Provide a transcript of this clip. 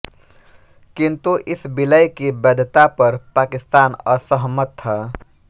किंतु इस विलय की वैधता पर पाकिस्तान असहमत था